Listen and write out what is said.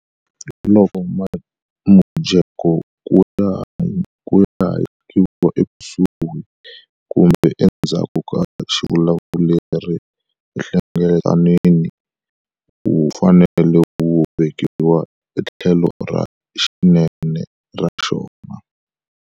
Loko mujeko ku hayekiwile ekusuhi kumbe endzhaku ka xivulavuri enhlengeletanweni, wu fanele wu vekiwa etlhelo ra xinene ra xona.